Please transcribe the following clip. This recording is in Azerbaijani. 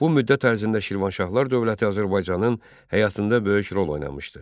Bu müddət ərzində Şirvanşahlar dövləti Azərbaycanın həyatında böyük rol oynamışdı.